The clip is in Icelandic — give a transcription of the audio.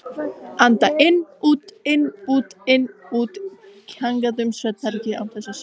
Anda inn-út-inn-út-inn-út, kjagandi um svefnherbergið án þess að sjá glóru.